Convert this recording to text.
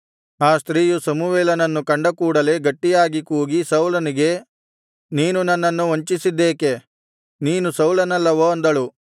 ಆ ಸ್ತ್ರೀಯು ಸಮುವೇಲನನ್ನು ಕಂಡಕೂಡಲೇ ಗಟ್ಟಿಯಾಗಿ ಕೂಗಿ ಸೌಲನಿಗೆ ನೀನು ನನ್ನನ್ನು ವಂಚಿಸಿದ್ದೇಕೆ ನೀನು ಸೌಲನಲ್ಲವೋ ಅಂದಳು